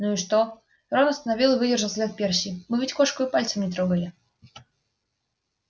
ну и что рон остановил и выдержал взгляд перси мы ведь кошку и пальцем не трогали